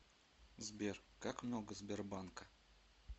сбер как много сбербанка